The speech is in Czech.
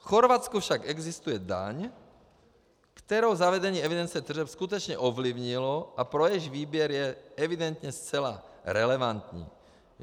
V Chorvatsku však existuje daň, kterou zavedení evidence tržeb skutečně ovlivnilo a pro jejíž výběr je evidentně zcela relevantní.